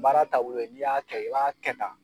Baara taabolo ye n'i y'a kɛ i b'a kɛ tan.